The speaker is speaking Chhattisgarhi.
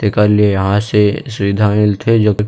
ते कर ले यहाँ से सुविधा मिल थे जो की--